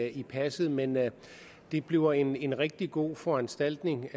i passet men det bliver en rigtig god foranstaltning